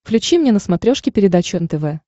включи мне на смотрешке передачу нтв